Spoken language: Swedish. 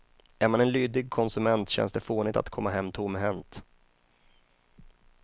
Är man en lydig konsument känns det fånigt att komma hem tomhänt.